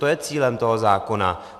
To je cílem toho zákona.